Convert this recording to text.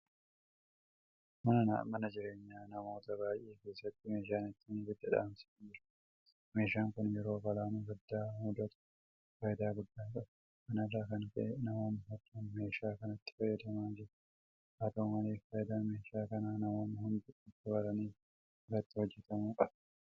Mana jireenyaa namoota baay'ee keessatti meeshaan ittiin ibidda dhaamsan jira. Meeshaan kun yeroo balaan abiddaa mudatu faayidaa guddaa qaba. Kana irraa kan ka'e namoonni hedduun meeshaa kanatti fayyadamaa jiru. Haata'u malee faayidaa meeshaa kanaa namoonni hundi akka baraniif irratti hojjetamuu qaba.